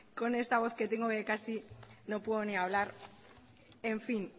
con esta voz que tengo casi no puedo ni hablar en fin